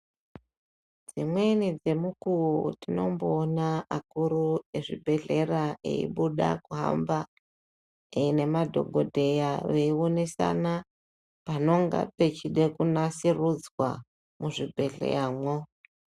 Dzimweni dzemukuvo tinomboona akuru ezvibhedhlera eibuda kuhamba nemadhogodheya eionesana panonga pechida kunasurudzwa, muzvibhedhleyamwo.